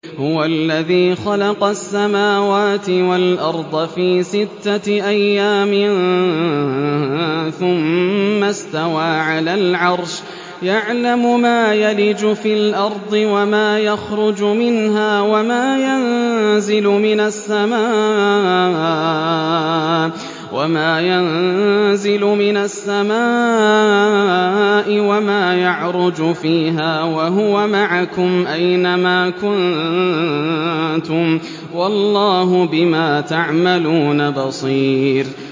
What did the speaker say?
هُوَ الَّذِي خَلَقَ السَّمَاوَاتِ وَالْأَرْضَ فِي سِتَّةِ أَيَّامٍ ثُمَّ اسْتَوَىٰ عَلَى الْعَرْشِ ۚ يَعْلَمُ مَا يَلِجُ فِي الْأَرْضِ وَمَا يَخْرُجُ مِنْهَا وَمَا يَنزِلُ مِنَ السَّمَاءِ وَمَا يَعْرُجُ فِيهَا ۖ وَهُوَ مَعَكُمْ أَيْنَ مَا كُنتُمْ ۚ وَاللَّهُ بِمَا تَعْمَلُونَ بَصِيرٌ